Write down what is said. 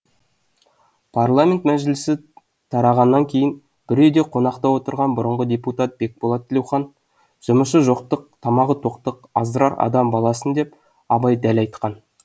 парламент мәжілісі тарағаннан кейін бір үйде қонақта отырған бұрынғы депутат бекболат тілеухан жұмысы жоқтық тамағы тоқтық аздырар адам баласын деп абай дәл айтқан